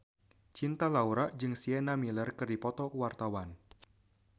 Cinta Laura jeung Sienna Miller keur dipoto ku wartawan